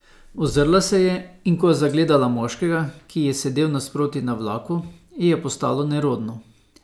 Ozrla se je, in ko je zagledala moškega, ki ji je sedal nasproti na vlaku, ji je postalo nerodno.